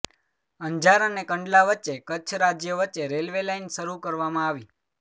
અંજાર અને કંડલા વચ્ચે કચ્છ રાજ્ય વચ્ચે રેલ્વે લાઇન શરૂ કરવામાં આવી